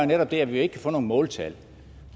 netop det at vi ikke kan få nogen måltal